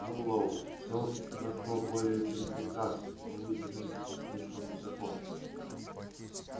мэллоу всё прошло более чем прекрасно но вы заноситесь слишком высоко